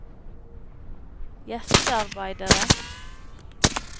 gjestearbeidere